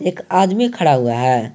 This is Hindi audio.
एक आदमी खड़ा हुआ है।